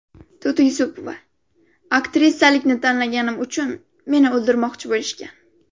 To‘ti Yusupova: Aktrisalikni tanlaganim uchun meni o‘ldirmoqchi bo‘lishgan.